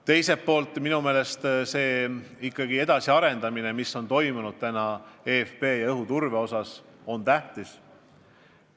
Teiselt poolt on tähtis see areng, mis on toimunud eFP ja õhuturbe vallas.